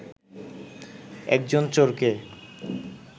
একজন চোরকে